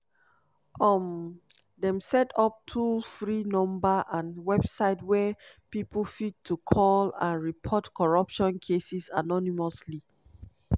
um dem set up toll free number and website wia pipo fit to call and report corruption cases anonymously.